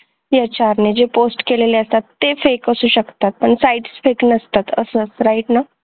HR ने जे post केलेलं असतात ते fake असू शकतात sites fake नसतात